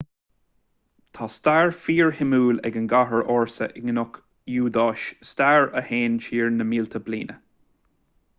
tá stair fíorshuimiúil ag an gcathair ársa i gcnoic iúidáis stair a théann siar na mílte bliain